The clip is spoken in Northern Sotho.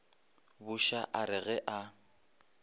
buša a re ge a